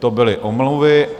To byly omluvy.